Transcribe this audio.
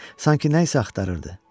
Sanki nə isə axtarırdı.